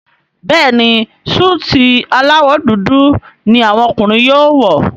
Béèni Súìtì alawọ dúdú ní àwọn ọkùnrin yóò wọ.